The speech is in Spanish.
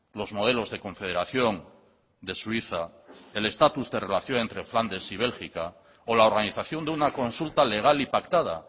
los modelos de confederación de suiza el estatus de relación entre flandes y bélgica o la organización de una consulta legal y pactada